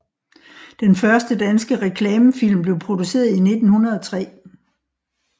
Den første danske reklamefilm blev produceret i 1903